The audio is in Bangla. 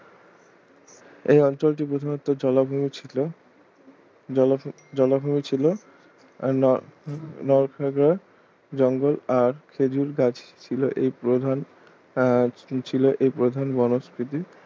এই অঞ্চলটি প্রথমেতো জলাভূমি ছিল ~ জলাভূমি ছিল আর ~ নলখাগড়ার জঙ্গল আর খেজুর গাছ ছিল এই প্রধান আহ ছিল এই প্রধান বনস্ফীতি